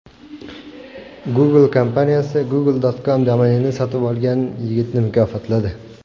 Google kompaniyasi Google.com domenini sotib olgan yigitni mukofotladi.